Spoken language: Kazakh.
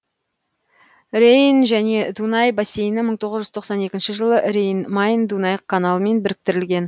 рейн және дунай бассейні мың тоғыз жүз тоқсан екінші жылы рейн майн дунай каналымен біріктірілген